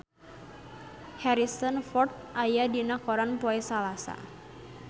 Harrison Ford aya dina koran poe Salasa